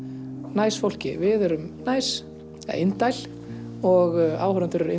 næs fólki við erum næs eða indæl og áhorfendur eru